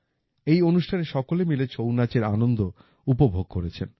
এই অনুষ্ঠানে সকলে মিলে ছৌ নাচের আনন্দ উপভোগ করেছেন